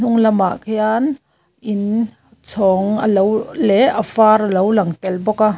hma lamah khian in chhawng a lo leh a var alo lang tel bawk a.